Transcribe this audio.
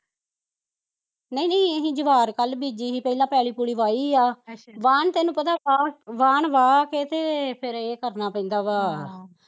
ਨਹੀਂ ਨਹੀਂ ਅਸੀਂ ਜਵਾਹਰ ਕੱਲ ਬੀਜੀ ਸੀ, ਪਹਿਲਾਂ ਪੈਲੀ ਪੁਲੀ ਵਾਹੀ ਆ ਬਾਹਣ ਤੇਨੂੰ ਪਤਾ ਬਾਹਣ ਵਾਹ ਕੇ ਤੇ ਫੇਰ ਏਹ ਕਰਨਾ ਪੈਂਦਾ ਵਾਂ ਹਮ